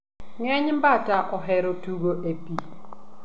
Ngeny bata ohero tugo e pii